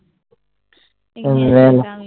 এইযে এটা আমি